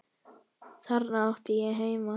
Þarna átti ég heima.